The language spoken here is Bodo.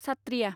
सात्थ्रिया